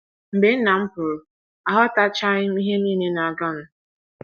Mgbe nna m pụrụ, aghọtachaghị m ihe nile na - aganụ.